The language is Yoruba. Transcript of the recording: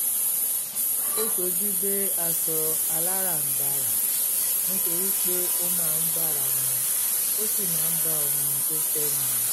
ó sojúdé aṣọ aláràǹbarà nítorí pé ó máa ń bára mu ó sì máa ń bá ohun tó fẹ́ mu